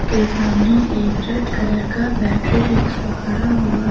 ये सामने एक रेड कलर का बैटरी रिक्शा खड़ा हुआ है।